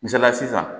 Misaliya sisan